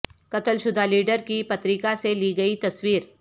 قتل شدہ لیڈر کی پتریکہ سے لی گئی تصویر